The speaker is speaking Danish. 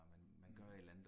Mhm